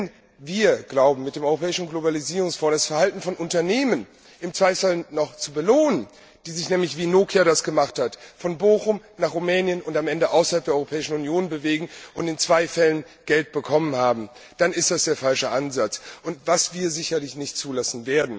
Wenn wir glauben, mit dem Europäischen Globalisierungsfonds das Verhalten von Unternehmen noch zu belohnen, die sich nämlich, wie Nokia es gemacht hat, von Bochum nach Rumänien und am Ende außerhalb der Europäischen Union bewegen und in zwei Fällen Geld bekommen haben, dann ist das der falsche Ansatz und das werden wir sicherlich nicht zulassen.